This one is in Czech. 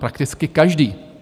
Prakticky každý.